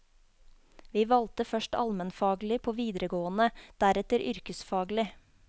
Vi valgte først almenfaglig på videregående, deretter yrkesfaglig.